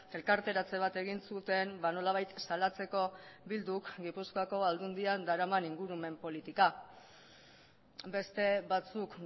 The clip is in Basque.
elkarteratze bat egin zuten nolabait salatzeko bilduk gipuzkoako aldundian daraman ingurumen politika beste batzuk